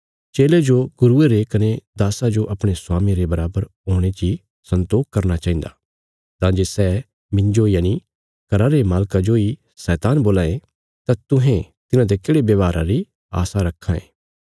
चेले जो गुरुये रे कने दास्सा जो अपणे स्वामिये रे बराबर हुणे ची सन्तोख करना चाहिन्दा तां जे सै मिन्जो यनि घरा रे मालका जोई शैतान बोलां ये तां तुहें तिन्हांते केढ़े व्यवहारा री आशा रक्खां ये